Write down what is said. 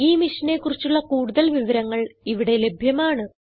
ഈ മിഷനെ കുറിച്ചുള്ള കുടുതൽ വിവരങ്ങൾ ഇവിടെ ലഭ്യമാണ്